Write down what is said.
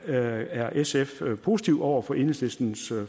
er sf positive over for enhedslistens